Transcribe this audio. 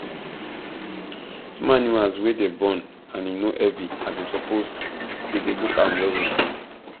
small animals wey dem born and him no heavy as him suppose da go look am well well